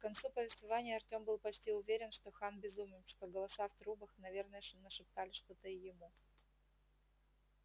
к концу повествования артём был почти уже уверен что хан безумен что голоса в трубах наверное нашептали что-то и ему